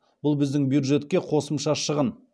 бұл біздің бюджетке қосымша шығын